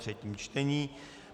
třetí čtení